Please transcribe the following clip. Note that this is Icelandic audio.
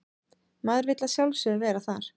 Maður vill að sjálfsögðu vera þar